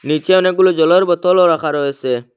নীচে অনেকগুলো জলের বোতলও রাখা রয়েসে।